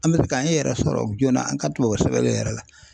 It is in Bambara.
An bɛ fɛ k'an yɛrɛ sɔrɔ joona an ka tubabu sɛbɛnni yɛrɛ la.